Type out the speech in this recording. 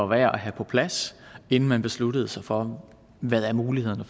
værd at have på plads inden man beslutter sig for hvad mulighederne